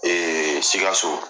Ee Sikaso